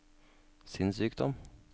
sinnssykdom